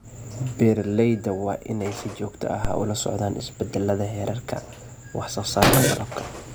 Beeralayda waa inay si joogto ah ula socdaan isbeddelada heerarka wax soo saarka malabka.